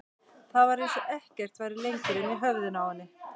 Það var eins og ekkert væri lengur inni í höfðinu á henni.